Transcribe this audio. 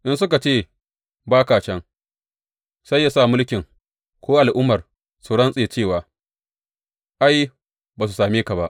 In suka ce ba ka can, sai yă sa mulkin ko al’ummar su rantse, cewa ai, ba su same ka ba.